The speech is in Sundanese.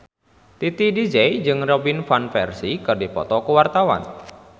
Titi DJ jeung Robin Van Persie keur dipoto ku wartawan